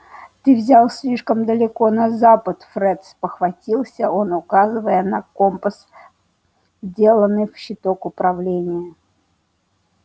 ты взял слишком далеко на запад фред спохватился он указывая на компас вделанный в щиток управления